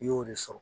I y'o de sɔrɔ